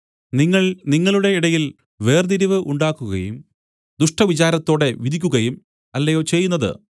നിങ്ങൾ നിങ്ങളുടെ ഇടയിൽ വേർതിരിവ് ഉണ്ടാക്കുകയും ദുഷ്ടവിചാരത്തോടെ വിധിക്കുകയും അല്ലയോ ചെയ്യുന്നത്